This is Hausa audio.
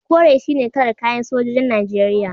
Kore shine kalar kayan sojojin Najeriya.